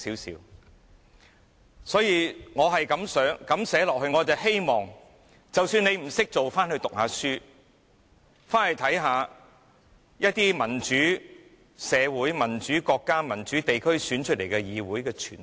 所以，我這樣子訂明，便是希望主席即使不懂得怎樣做，也可以回去唸一唸書，回去看看一些民主社會、民主國家、民主地區選出來的議會傳統。